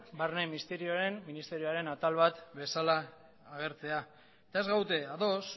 barne ministerioaren atal bat bezala agertzea eta ez gaude ados